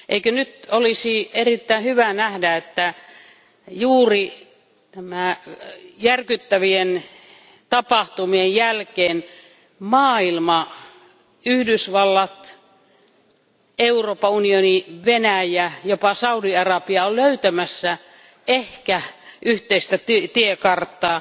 Eikö nyt olisi erittäin hyvä nähdä, että juuri näiden järkyttävien tapahtumien jälkeen maailma, Yhdysvallat, Euroopan unioni, Venäjä, jopa Saudi Arabia ovat löytämässä ehkä yhteistä tiekarttaa.